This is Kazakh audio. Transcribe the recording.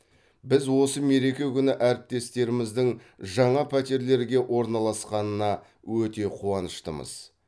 біз осы мереке күні әріптестеріміздің жаңа пәтерлерге орналасқанына өте қуаныштымыз